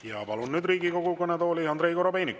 Ja palun nüüd Riigikogu kõnetooli Andrei Korobeiniku.